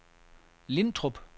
Lintrup